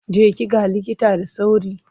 Je ki ga likita da sauri!